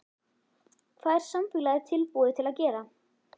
Hvað er samfélagið tilbúið til að gera?